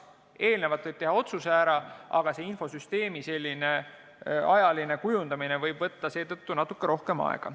Eelnevalt võib ära teha otsuse, aga selle infosüsteemi selline ajaline kujundamine võib võtta seetõttu natuke rohkem aega.